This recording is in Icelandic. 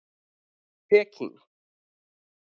Peking